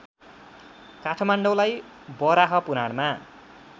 काठमाडौँलाई वराहपुराणमा